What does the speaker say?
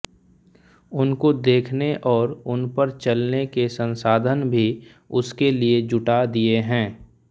उनको देखने और उनपर चलने के संसाधन भी उसके लिए जुटा दिए हैं